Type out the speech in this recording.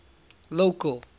local